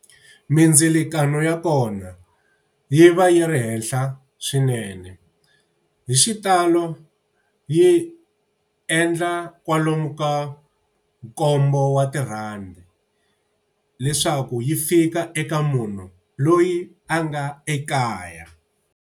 Mindzilikano ya kona yi va yi ri henhla swinene. Hi xitalo yi endla kwalomu ka nkombo wa tirhandi, leswaku yi fika eka munhu loyi a nga ekaya.